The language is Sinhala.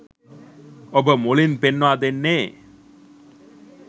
ඔබ මුලින් පෙන්වා දෙන්නේ